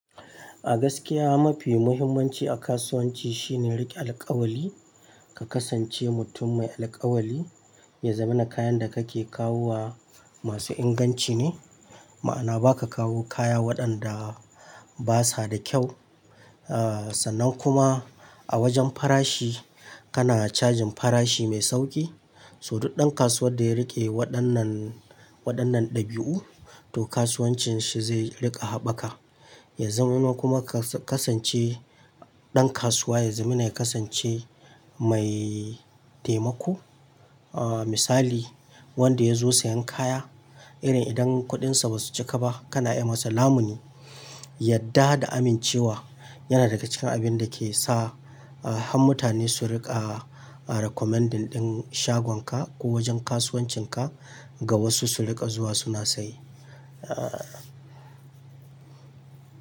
A gaskiya mafi muhimmanci a kasuwanci shine riƙe alkawali, ka kasance mutum mai alkawali, ya zama na kayan da kake kawo wa masu inganci ne, ma'ana baka kawo kaya waɗanda basa da kyau. Ah sannan kuma a wajen farashi kana cajin farashi mai sauƙi, so duk ɗan kasuwar da ya riƙe waɗannan, waɗannan dabi'u to kasuwancin shi zai riƙa haɓaka. Ya zama kuma ka kasance ɗan kasuwa ya zama na kasance mai taimako. Ah misali wanda ya zo siyan kaya irin idan kuɗinsa ba su cika ba kana yi masa lamuni, yadda da amincewa yana daga cikin abin da ke sa ah mutane su riƙa recommending ɗin shagonka ko wajen kasuwancinka ga wasu su riƙa zuwa suna saye. Ah.